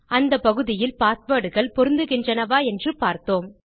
அந்த பகுதியில் பாஸ்வேர்ட் கள் பொருந்துகின்றனவா என்று பார்த்தோம்